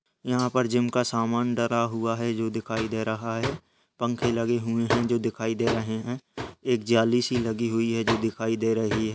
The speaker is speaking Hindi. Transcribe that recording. यहाँ पर जिम का समान डला हुआ है जो दिखाई दे रहा है पंखे लगे हुये हैं जो दिखाई दे रहें हैं एक जाली सी लगी हुई है जो दिखाई दे रही है।